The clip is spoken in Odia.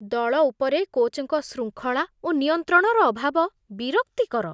ଦଳ ଉପରେ କୋଚ୍‌‌‌ଙ୍କ ଶୃଙ୍ଖଳା ଓ ନିୟନ୍ତ୍ରଣର ଅଭାବ ବିରକ୍ତିକର।